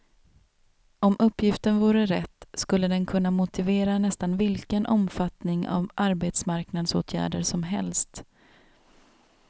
Om uppgiften vore rätt skulle den kunna motivera nästan vilken omfattning av arbetsmarknadsåtgärder som helst.